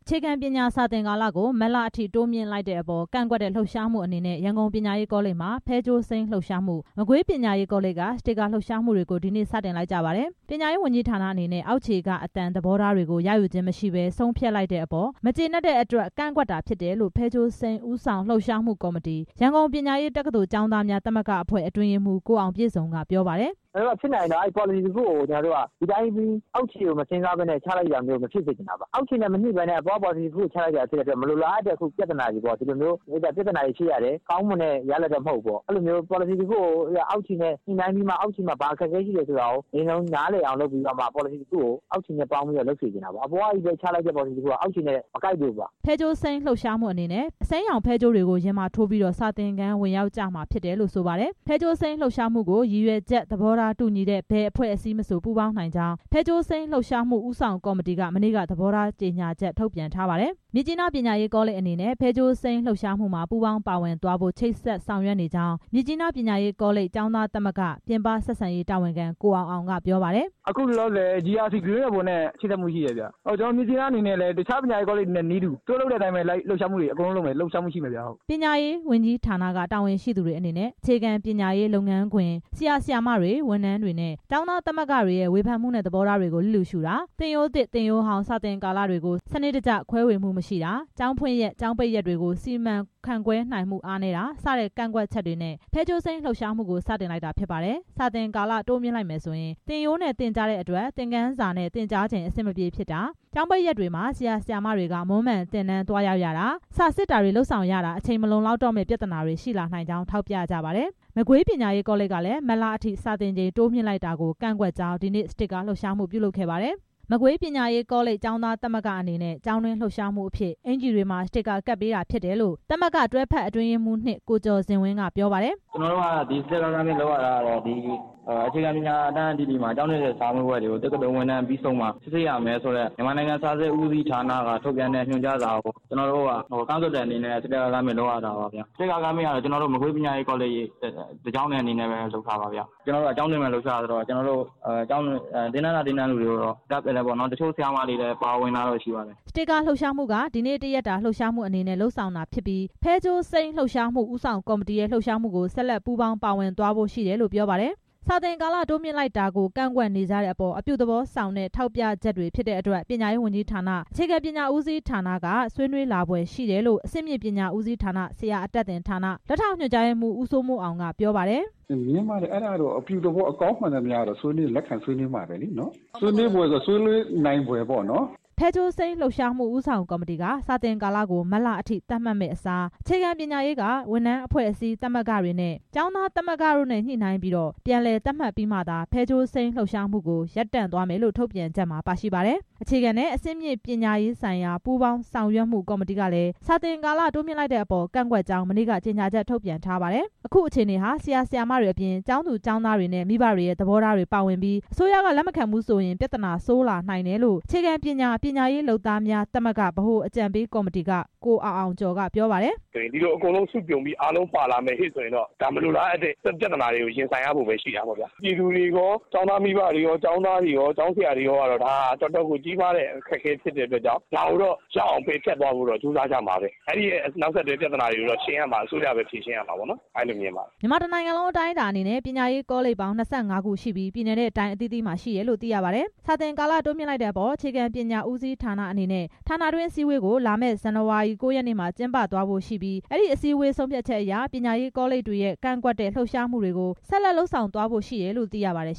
ခြေခံပညာ စာသင်ကာလကို မတ်လအထိ တိုးမြှင့်လိုက်တဲ့အပေါ် ကန့်ကွက်တဲ့ လှုပ်ရှားမှုအနေနဲ့ ရန်ကုန် ပညာရေးကောလိပ်မှာ ဖဲကြိုးစိမ်းလှုပ်ရှားမှု၊ မကွေးပညာရေးကောလိပ်က စတစ်ကာ လှုပ်ရှားမှုကို ဒီနေ့ စတင်လိုက်ကြပါတယ်။ ပညာရေးဝန်ကြီးဌာနအနေနဲ့ အောက်ခြေက အသံ သဘောထားတွေကို ရယူခြင်းမရှိဘဲ ဆုံးဖြတ်လိုက်တဲ့အပေါ် မကျေနပ်တဲ့အတွက် ကန့်ကွက်တာဖြစ်တယ်လို့ ဖဲကြိုးစိမ်းဦးဆောင်လှုပ်ရှားမှု‌‌ကော်မတီ၊ ရန်ကုန် ပညာရေးတက္ကသိုလ် ကျောင်းသားများ သမဂ္ဂအဖွဲ့ အတွင်းရေးမှူး ကိုအောင်ပြည့်စုံက ပြောပါတယ်။ “ပေါ်လစီတစ်ခုကို အောက်ခြေကိုမစဉ်းစားဘဲ ချလိုက်တာမျိုး မဖြစ်စေချင်တာပါ။ အောက်ခြေနဲ့ မညှိပဲနဲ့ အခုလိုမျိုး ပေါ်လစီတစ်ခုကို ချလိုက်တော့ မလိုလားအပ်တဲ့ ပြဿနာတွေ ဖြစ်ရတယ် ကောင်းမွန်တဲ့ ရလဒ်မဟုတ်ဘူး။ အဲလိုမျိုး ပေါ်လစီတစ်ခုကို အောက်ခြေနဲ့ညှိနှိုင်းပြီး ချစေချင်တယ် အပေါ်ကပဲ လုပ်တာဆိုရင် အောက်ခြေနဲ့ မကိုက်လို့ပါ။” ဖဲကြိုးစိမ်း လှုပ်ရှားမှုအနေနဲ့ အစိမ်းရောင်ဖဲကြိုးတွေကို ရင်မှာထိုးပြီး စာသင်ခန်းဝင်ရောက်ကြမှာဖြစ်တယ်လို့ ဆိုပါတယ်။ ဖဲကြိုးစိမ်းလှုပ်ရှားမှုကို ရည်ရွယ်ချက် သဘောထားတူညီတဲ့ ဘယ်အဖွဲ့အစည်းမဆို ပူးပေါင်းနိုင်ကြောင်း ဖဲကြိုးစိမ်းလှုပ်ရှားမှု ဦးဆောင်ကော်မတီက မနေ့က သဘောထားကြေညာချက်ထုတ်ပြန်ထားပါတယ်။ မြစ်ကြီးနား ပညာရေးကောလိပ်အနေနဲ့ ဖဲကြိုးစိမ်းလှုပ်ရှားမှုမှာ ပူးပေါင်းပါဝင်သွားဖို့ ချိတ်ဆက် ဆောင်ရွက်နေကြောင်း မြစ်ကြီးနား ပညာရေးကောလိပ် ကျောင်းသားသမဂ္ဂ ပြင်ပဆက်ဆံရေးတာဝန်ခံ ကိုအောင်အောင်က ပြောပါတယ်။ အခုလောလောဆယ် ဖဲကြိုးစိမ်းလှုပ်ရှားမှုနဲ့ ချိတ်ဆက်မှုရှိတယ်။ မြစ်ကြီးနားအနေနဲ့ အခြားပညာရေး ကောလိပ်တွေနဲ့ နည်းတူ သူတို့လုပ်တဲ့အတိုင်း လှုပ်ရှားမှုရှိမယ်။ ပညာရေးဝန်ကြီးဌာန တာဝန်ရှိသူတွေအနေနဲ့ အခြေခံပညာရေးလုပ်ငန်းခွင် ဆရာ၊ ဆရာမတွေ၊ ဝန်ထမ်းတွေနဲ့ ကျောင်းသားသမဂ္ဂတွေရဲ့ ဝေဖန်မှုနဲ့ သဘောထားတွေကို လျစ်လျူရှုတာ၊ သင်ရိုးသစ်၊ သင်ရိုးဟောင်း စာသင်ကာလတွေကို စနစ်တကျ ခွဲဝေမှုမရှိတာ၊ ကျောင်းဖွင့်ရက် ကျောင်းပိတ်ရက်တွေကို စီမံခန့်ခွဲနိုင်မှု အားနည်းတာ စတဲ့ ကန့်ကွက်ချက်တွေနဲ့ ဖဲကြိုးစိမ်းလှုပ်ရှားမှုကို စတင်လိုက်တာဖြစ်ပါတယ်။ စာသင်ကာလ တိုးမြှင့်လိုက်မယ်ဆိုရင် သင်ရိုးနဲ့သင်ကြားတဲ့အတွက် သင်ခန်းစာနဲ့ သင်ကြားချိန် အဆင်မပြေဖြစ်တာ၊ ကျောင်းပိတ်ရက်တွေမှာ ဆရာ၊ ဆရာမတွေက မွန်းမံသင်တန်းသွားရောက်ရတာ စာစစ်တာတွေ လုပ်ဆောင်ရတာမှာ အချိန်မလုံလောက်တော့မယ့် ပြဿနာတွေ ရှိလာနိုင်ကြောင်း ထောက်ပြကြပါတယ်။ မကွေး ပညာရေးကောလိပ်ကလည်း မတ်လအထိ စာသင်ချိန် တိုးမြှင့်လိုက်တာကို ကန့်ကွက်ကြောင်း ဒီနေ့ စတစ်ကာ လှုပ်ရှားမှုလုပ်ခဲ့ပါတယ်။ မကွေး ပညာရေးကောလိပ် ကျောင်းသားမသဂ္ဂအနေနဲ့ ကျောင်းတွင်းလှုပ်ရှားမှုအဖြစ် အင်္ကျီတွေမှာ စတစ်ကာ ကပ်ပေးတာဖြစ်တယ်လို့ သမဂ္ဂ တွဲဖက်အတွင်းရေးမှူး (၂) ကိုကျော်ဇင်ဝင်းက ပြောပါတယ်။ စတစ်ကာကမ်ပိန်းလုပ်ရတာ အခြေခံပညာ အတန်းအသီးသီးမှာ အတန်းတင်တဲ့စာမေးပွဲကို တက္ကသိုလ်ဝင်တန်းစာမေးပွဲပြီးမှ စစ်ဆေးရမယ်ဆိုတဲ့ အခြေခံပညာဦးစီးဌာနက ထုတ်ပြန်တဲ့စာကို ကန့်ကွက်တဲ့အနေနဲ့ လုပ်တာပါ။ စတစ်ကာကမ်ပိန်းကတော့ ကျွန်တော်တို့ ကျောင်းတစ်ကျောင်းထဲအနေနဲ့ လုပ်တာပါ။ ကျောင်းတွင်း လှုပ်ရှားမှုဆိုတော့ ကျောင်းသားတွေနဲ့ တချို့ ဆရာမတွေ ပါဝင်တာရှိပါတယ်။ စတစ်ကာလှုပ်ရှားမှုက ဒီနေ့ တစ်ရက်တာလှုပ်ရှားမှုအနေနဲ့ လုပ်ဆောင်တာဖြစ်ပြီး ဖဲကြိုးစိမ်းလှုပ်ရှားမှု ဦးဆောင်ကော်မတီရဲ့ လှုပ်ရှားမှုကို ဆက်လက်ပူးပေါင်း ပါဝင်သွားဖို့ရှိတယ်လို့ ပြောပါတယ်။ စာသင်ကာလ တိုးမြှင့်လိုက်တဲ့အပေါ် ကန့်ကွက်နေကြတဲ့အပေါ် အပြုသဘောဆောင်တဲ့ ထောက်ပြချက် တွေဖြစ်တဲ့အတွက် ပညာ‌ရေးဝန်ကြီးဌာန အခြေခံပညာ ဦးစီးဌာနက ဆွေးနွေးလာ ဖွယ်ရှိတယ်လို့ အဆင့်မြင့်ပညာဦးစီးဌာန ဆရာအတတ်ဌာန လက်ထောက်ညွန်ကြားရေးမှူး ဦးစိုးမိုးအောင် ကပြောပါတယ်။ ဖဲကြိုးစိမ်းလှုပ်ရှားမှု ဦးဆောင်ကော်မတီက စာသင်ကာလကို မတ်လအထိ သတ်မှတ်တဲ့အစား အခြေခံပညာရေးက ဝန်ထမ်းအဖွဲ့အစည်း သမဂ္ဂတွေ နဲ့ ကျောင်းသားသမဂ္ဂ တို့နဲ့ညှိနှိုင်းပြီး ပြန်လည် သတ်မှတ်ပြီးမှသာ ဖဲကြိုးစိမ်းလှုပ်ရှားမှုကို ရပ်တန့်သွားမယ်လို့ ထုတ်ပြန်ချက်မှာပါရှိပါတယ်။ အခြေခံနှင့် အဆင့်မြင့်ပညာရေးဆိုင်ရာ ပူးပေါင်းဆောင်ရွက်မှု ကော်မတီကလည်း စာသင်ကာလ တိုးမြှင့်လိုက်တဲ့အပေါ် ကန့်ကွက်ကြောင်း မနေ့က ကြေညာချက် ထုတ်ပြန်ထားပါတယ်။ အခုအခြေအနေဟာ ဆရာ ဆရာမတွေအပြင် ကျောင်းသားကျောင်းသူတွေနဲ့ မိဘတွေရဲ့ သဘောထားတွေ ပါဝင်ပြီး အစိုးရက လက်မခံဘူးဆိုရင် ပြဿနာဆိုးလာနိုင်တယ်လို့ အခြေခံပညာ ပညာရေးလုပ်သားများသမဂ္ဂ ဗဟိုအကြံပေးကော်မတီက ကိုအောင်အောင်ကျော်က ပြောပါတယ်။ ဒီလို အကုန်လုံးစုပြုံပြီး ပါလာရင်တော့ ဒါမလိုလားအပ်တဲ့ ပြဿနာတွေ ရင်ဆိုင်ရမှာပေါ့ ပြည်သူတွေရော ကျောင်းသားမိဘတွေရော ဆရာ ဆရာမတွေရော ကျောင်းသားတွေရော အတွက် ဒါဟာတော်တော်ကို ကြီးမားတဲ့ အခက်အခဲဖြစ်တဲ့ ဒါကို ရအောင်ပယ်ဖျက်ကြမှာပဲ အဲဒီပြဿနာနောက်ဆက်တွဲကို အစိုးရက ဖြေရှင်းရမယ် အဲလိုတော့မြင်ပါတယ်။ မြန်မာတစ်နိုင်ငံလုံး အတိုင်းအတာအနေနဲ့ ပညာရေးကောလိပ်ပေါင်း ၂၅ ခုရှိပြီး ပြည်နယ်နဲ့ တိုင်းအသီးသီးမှာ ရှိတယ်လို့ သိရပါတယ်။ စာသင်ကာလ တိုးမြှင့်လိုက်တဲ့အပေါ် အခြေခံပညာဦးစီးဌာနအနေနဲ့ ဌာနတွင်းအစည်းအဝေးကို လာမယ့် ဇန်နဝါရီ ၉ ရက်နေ့မှာ ကျင်းပသွားဖို့ ရှိပြီး အဲဒီအစည်းအဝေး ဆုံးဖြတ်ချက်အရ ပညာရေးကောလိပ်တွေရဲ့ ကန့်ကွက်တဲ့ လှုပ်ရှားမှုတွေကို ဆက်လက်လုပ်ဆောင်သွားဖို့ရှိတယ်လို့ သိရပါတယ်